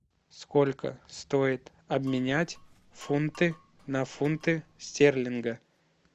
сколько стоит обменять фунты на фунты стерлинга